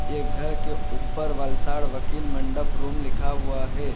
एक घर के ऊपर वलसाड वकील मंडप रूम लिखा हुआ है।